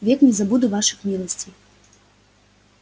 век не забуду ваших милостей